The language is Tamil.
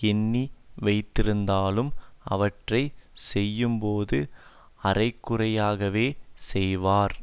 எண்ணி வைத்திருந்தாலும் அவற்றை செய்யும்போது அரைகுறையாகவே செய்வார்